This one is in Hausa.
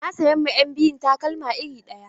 Na sayan ma ƴan biyun takalma iri ɗaya.